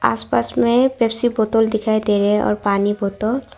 आसपास में पेप्सी बोतल दिखाई दे रहे है और पानी बोतल --